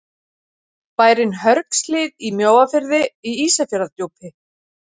Bærinn Hörgshlíð í Mjóafirði í Ísafjarðardjúpi.